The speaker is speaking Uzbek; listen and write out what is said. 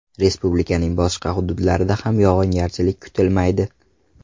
Respublikaning boshqa hududlarida ham yog‘ingarchilik kutilmaydi.